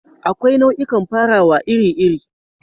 Akwai nau'ikan farawa iri-iri.